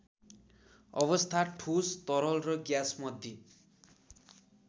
अवस्था ठोस तरल र ग्याँसमध्ये